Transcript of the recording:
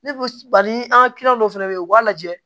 Ne ko bali an ka dɔw fɛnɛ bɛ yen u b'a lajɛ